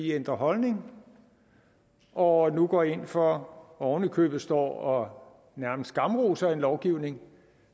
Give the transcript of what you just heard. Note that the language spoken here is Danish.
ændret holdning og og nu går ind for og oven i købet nærmest står og skamroser en lovgivning